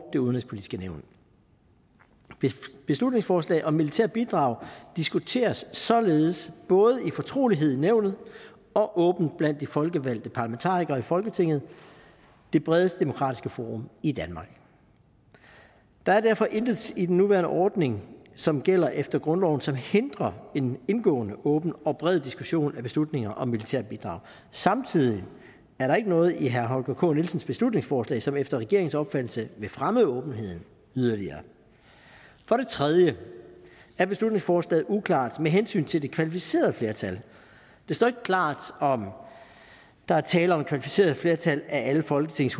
det udenrigspolitiske nævn beslutningsforslag om militære bidrag diskuteres således både i fortrolighed i nævnet og åbent blandt de folkevalgte parlamentarikere i folketinget det bredeste demokratiske forum i danmark der er derfor intet i den nuværende ordning som gælder efter grundloven som hindrer en indgående åben og bred diskussion af beslutninger om militære bidrag samtidig er der ikke noget i herre holger k nielsens beslutningsforslag som efter regeringens opfattelse vil fremme åbenheden yderligere for at tredje er beslutningsforslaget uklart med hensyn til det kvalificerede flertal det står ikke klart om der er tale om et kvalificeret flertal af alle folketingets